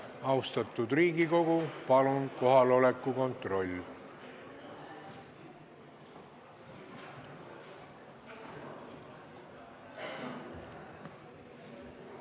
Austatud Riigikogu, palun kohaloleku kontroll!